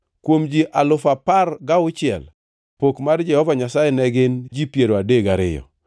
kuom ji alufu apar gauchiel (16,000), pok mar Jehova Nyasaye ne gin ji piero adek gariyo (32).